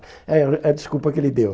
É é a desculpa que ele deu.